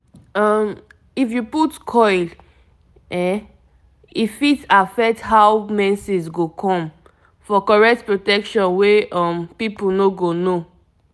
um if u put coil e fit affect how menses go come - for correct protection wey um people no go know